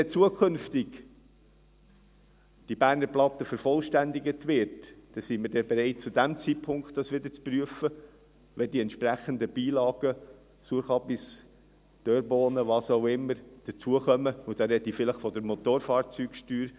Wenn zukünftig diese Berner Platte dann vervollständigt wird, sind wir bereit, es zu diesem Zeitpunkt wieder zu prüfen, wenn die entsprechenden Beilagen hinzukommen, Sauerkraut, Dörrbohnen und was auch immer – und hier spreche ich vielleicht von der Motorfahrzeugsteuer.